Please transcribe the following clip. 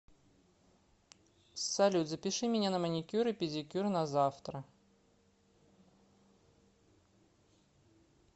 салют запиши меня на маникюр и педикюр на завтра